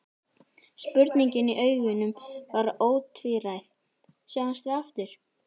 Spurningin í augunum var ótvíræð: Sjáumst við aftur?